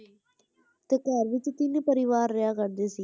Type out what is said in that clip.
ਤੇ ਘਰ ਵਿੱਚ ਤਿੰਨ ਪਰਿਵਾਰ ਰਿਹਾ ਕਰਦੇ ਸੀ,